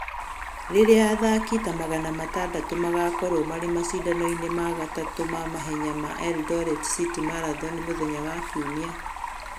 Rĩrĩa athaki ta magana matandatũ magaakorũo marĩ macindano-inĩ ma gatatu ma mahenya ma Eldoret city Marathon mũthenya wa Kiumia,